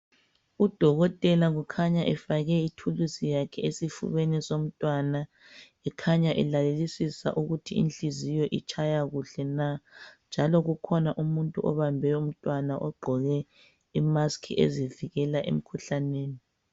Udokotela ukhanya efake ithuluzi yakhe esifubeni somntwana ekhanya elalelisisa ukuthi inhliziyo itshaya kuhle na njalo kukhona umuntu obambe umntwana ogqoke imusk ezivikela emkhuhlaneni.